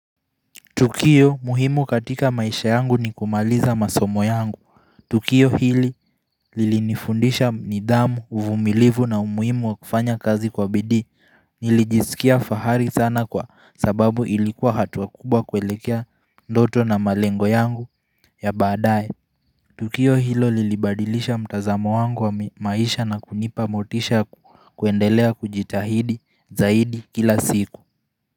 Tukiyo muhimu katika maisha yangu ni kumaliza masomo yangu. Tukiyo hili lilinifundisha nidhamu, uvumilivu na umuhimu wa kufanya kazi kwa bidi. Nilijisikia fahari sana kwa sababu ilikuwa hatuwa kubwa kwelekea ndoto na malengo yangu ya badaye. Tukiyo hilo lilibadilisha mtazamo wangu wa maisha na kunipa motisha kuendelea kujitahidi zaidi kila siku.